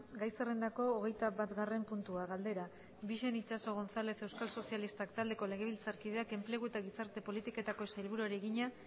gai zerrendako hogeita batgarren puntua galdera bixen itxaso gonzález euskal sozialistak taldeko legebiltzarkideak enplegu eta gizarte politiketako sailburuari egina